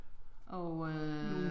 Og øh